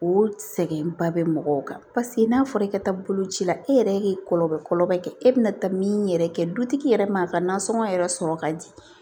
O sɛgɛnba bɛ mɔgɔw kan paseke n'a fɔra i ka taa boloci la e yɛrɛ ye kɔlɔlɔ kɛ e bɛna taa min yɛrɛ kɛ dutigi yɛrɛ ma a ka nasɔngɔ yɛrɛ sɔrɔ ka di